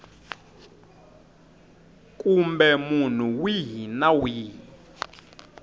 kumbe munhu wihi na wihi